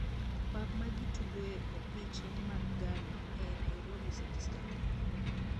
Pap ma gi tugoe opiche mag gala e Nairobi City Stadium